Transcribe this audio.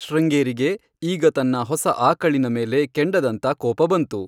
ಶೃಂಗೇರಿಗೆ ಈಗ ತನ್ನ ಹೊಸ ಆಕಳಿನ ಮೇಲೆ ಕೆಂಡದಂತ ಕೋಪ ಬಂತು.